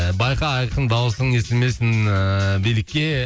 байқа айқын дауысың естілмесін ыыы билікке